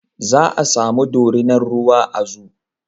Za a sami dorinar ruwa a zoo